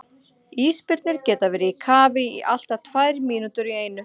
Ísbirnir geta verið í kafi í allt að tvær mínútur í einu.